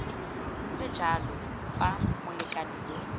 ntse jalo fa molekane yo